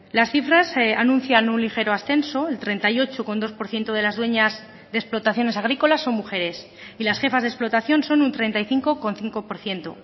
las cifras anuncian un ligero ascenso el treinta y ocho coma dos por ciento de las dueñas de explotaciones agrícolas son mujeres y las jefas de explotación son un treinta y cinco coma cinco por ciento